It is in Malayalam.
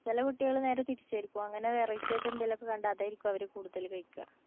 ചെല കുട്ടികള് നേരെ തിരിച്ചായിരിക്കും. അങ്ങനെ variety ആയിട്ട് എന്തേലും ഒക്കെ കണ്ടാ അതായിരിക്കും അവര് കൂടുതല് കഴിക്കാ.